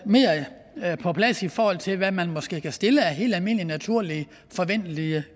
mere på plads i forhold til hvad man måske kan stille af helt almindelige naturlige forventelige